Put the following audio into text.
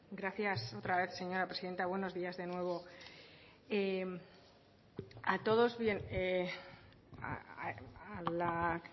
gracias otra vez señora presidenta buenos días de nuevo a todos bien a la